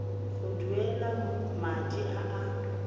go duela madi a a